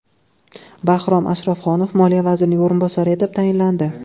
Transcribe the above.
Bahrom Ashrafxonov Moliya vazirining o‘rinbosari etib tayinlandi.